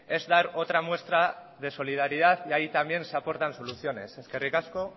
es dar otra muestra de solidaridad y ahí también se aportan soluciones eskerrik asko